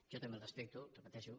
jo també el respecto ho repeteixo